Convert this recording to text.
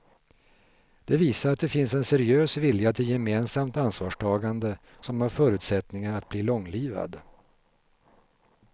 Det visar att det finns en seriös vilja till gemensamt ansvarstagande som har förutsättningar att bli långlivad.